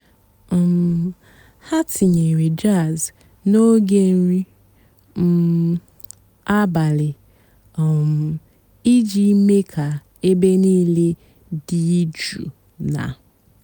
um há tínyérè jàzz n'óge nrí um àbàlí um ìjì méé kà-èbè níìlé dị́ jụ́ụ́ nà.